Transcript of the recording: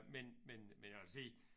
Men men men jeg vil sige